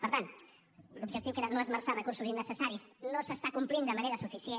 per tant l’objectiu que era no esmerçar recursos innecessaris no es compleix de manera suficient